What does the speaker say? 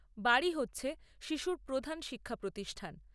বাড়ি হচ্ছে শিশুর প্রধান শিক্ষা প্রতিষ্ঠান।